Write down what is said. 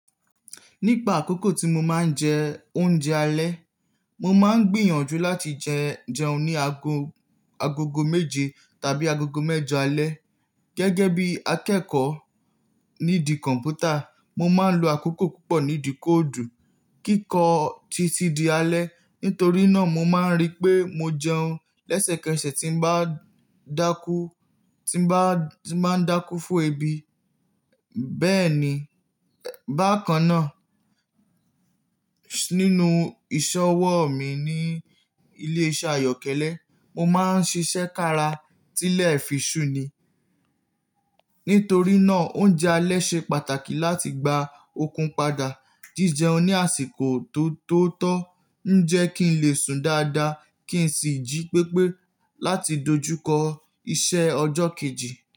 Nípa àkókò tí mo máa ń jẹ oúnjẹ alẹ́, mo máa ń gbìyànjú láti jẹ, jẹun ní ago, agogo méje tàbí agogo mẹ́jọ alẹ́. Gẹ́gẹ́ bí akẹ́kọ̀ọ́ nídi kọ̀mpútà, mo máa ń lo àkókò púpọ̀ nídi kóòdù kíkọ títí di alẹ́. Nítorí náà mo máa ń rí pé mo jẹun lẹ́sẹ̀kẹsẹ̀ tí ń bá dákú, tí ń bá, tí ń bá dákú fún ebi. Bẹ́ẹ̀ ni, bákan náà, nínú ìṣọwọ́ mi ní ilé iṣẹ́ ayọ́kẹ́lẹ́, mo máa ń ṣiṣẹ́ kára tílẹ̀ fí sùn ni. Nítorí náà oúnjẹ alẹ́ ṣe pàtàkì láti gba okun padà. Jíjẹun ní àsìkò tó, tó tọ́ ń jẹ́ kí n lè sùn dáadáa kí n sì jí pépé láti dojúkọ iṣẹ́ ọjọ́ kejì.